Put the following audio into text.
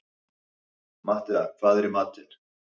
Matthea, hvað er í matinn?